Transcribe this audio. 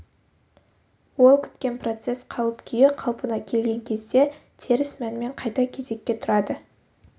ол күткен процесс қалып-күйі қалпына келген кезде теріс мәнмен қайта кезекке тұрады